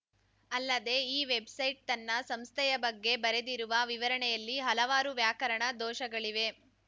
ಅಲ್ಲದೆ ಈ ವೆಬ್‌ಸೈಟ್‌ ತನ್ನ ಸಂಸ್ಥೆಯ ಬಗ್ಗೆ ಬರೆದಿರುವ ವಿವರಣೆಯಲ್ಲಿ ಹಲವಾರು ವ್ಯಾಕರಣ ದೋಷಗಳಿವೆ